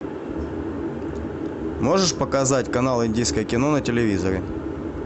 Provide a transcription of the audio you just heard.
можешь показать канал индийское кино на телевизоре